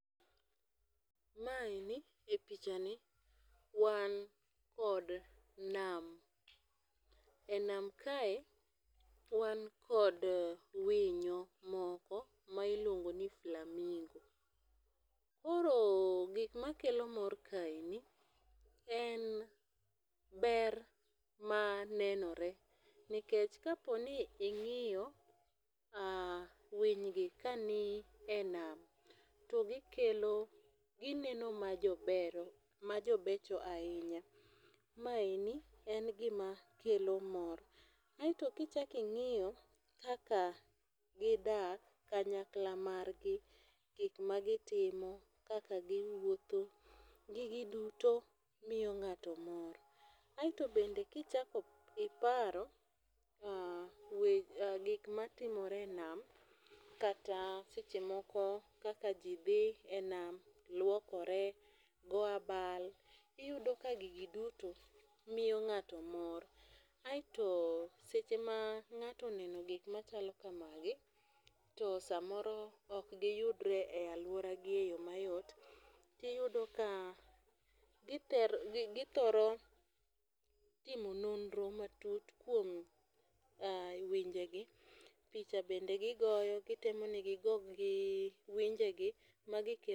Ma eni en pichani wan kod nam. E nam kae wan kod winyo moko ma iluongo ni flamingo. Koro gik makelo mor kaeni en ber mar nenore nikech kapo ni ing'iyo winy gi ka ni e nam to gikelo inono ma jobero ma jobecho ahinya. Ma eni en gima kelo mor. Kaeto kichak ing'iyo kaka gidak kanyakla mar gi, gik magitimo, kaka giwuotho. Gigi duto miyi ng'ato mor. Aeto bende kichak iparo gik matimore e nam kata seche moko kaka ji dhi e nam, luokore, goyo abal, iyudo ka gigi duto miyo ng'ato mor. Aeto seche ma ng'ato oneno gik machalo kamagi to samoro ok giyudre e aluora gi e yo mayot, tiyudo ka githoro timo nonro matut kuom winje gi. Picha bende gigoyo. Gitemo ni gi go gi winje gi magiketo